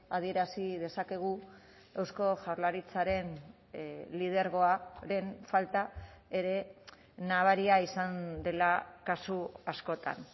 adierazi dezakegu eusko jaurlaritzaren lidergoaren falta ere nabaria izan dela kasu askotan